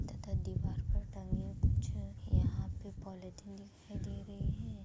तथा दीवार पर टंगे कुछ यहाँ पे पॉलीथिन दिखाई दे रहे हैं।